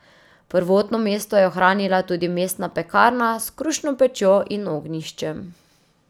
Prvotno mesto je ohranila tudi mestna pekarna s krušno pečjo in ognjiščem.